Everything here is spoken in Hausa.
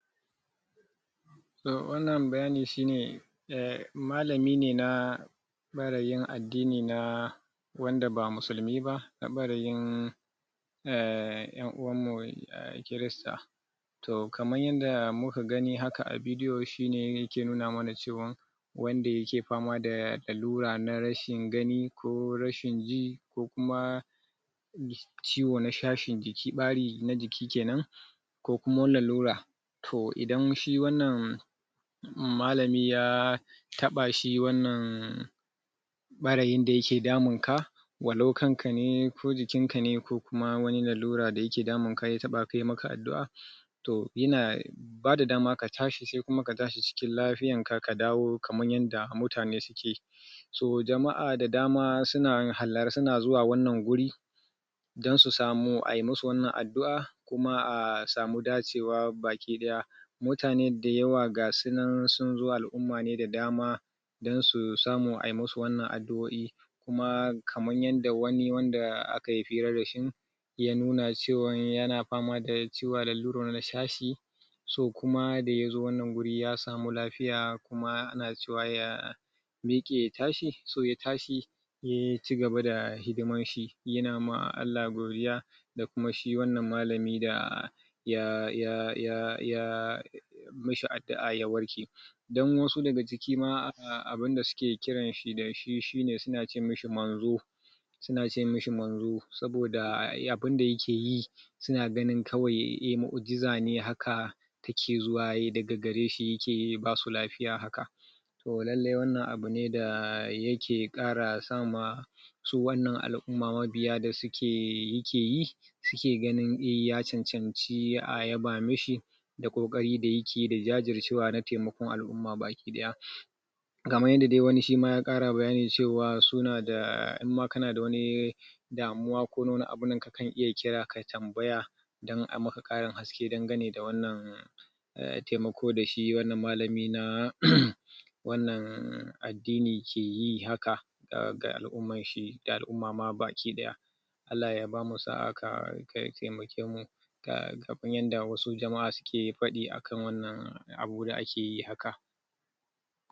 Matakin Kuna na farko Yana shafar bangaren sama ne na fata Sakaga fatar Ta kone da sama sama ne kawai ya kone Alamomin da yake nunawa cewa kunan nan a saman fata take Ga fatar hannu tayi ja Sannan kuma akwai jin zafi mai dan sauki Sai kuma adan kwai kunburi kadan a hannu Sannan kuma shi baya dadewa Yana warkewa cikin? Misalin kwana uku zuwa kwana bakwai Ba tare da ya bar tabo ba Sannan kuma mataki na biyu Shine yana shafar zurfin fata Na ipidamis da kuma damis Yana taba fatar waje yana dan shiga ciki Sannan ga alamomin sanan na nuna Yana ja sosai Fiye dana matakin farko Sannan kuma akwai kuraje Wanda suke dauke da ruwa a cikinsu Sannan kuma wajen kunan yakan zama hannun ya kunbura sosai Kuma akwai zafi ma Sannan kuma akwai tsanani a zafin Fiye da wanda yake a matakin farko Sannan shi warke warshi Shima yana daukan Kwanaki biyu Zuwa biyar Wurin warke wa Biyu zuwa uku Domin warke wa Kuma yana iya barin tabo Dan kadan A wani sa'ilin kuma Tabon yakan tafi Sai kuma mataki na uku Yana lalata dukkan shashan fata Tun daga kan vamis Yana kuma iya shiga har hypodamic wato cikin fata sosai ya iya lalata nama ya iya lalata kashi harda wasu sassama na jiki Sannan yana nuna alamomi musali a wannan hannun Gashi nan yayi yana nuna yin, Fari Ko kuma hannu yayi baki Ko kuma hannu ya canja kala zuwa brown ko kuma ruwan toka Baya jin zafi sosai a hannun Saboda yawanci jijiwowin sun riga sun kone Bazai warke da kansa ba saboda yana bukatar dashen fata Ko kuma sai'an yi mashi tiyata kafin ya warke ga baki daya So akwai Mahimmancin kulawa gaggawa Ana da mataki na farko ana warke idan an saka ruwan zafi ruwan sanyi Da kuma magunguna yana warkewa Sannan idan ana mataki na biyu Bukatan kulawar likita idan yanada girma ko kuma akwai kunburi Sannan kuma akwai mataki na uku Wannan mataki shima yana bukatan kulawa na gaggawa Saboda yana iya haifar da matsaloli masu tsanani A kiyaye Saboda idan anada tsanani Idan ciwo yayi tsanani ciwo yayi yawa Ayi maza maza a nemi taimakon ta Domin ya bada agaji na gaggawa Domin Rashin yin hakan Yana iya haifar da matsaloli na dindindin Wannan shine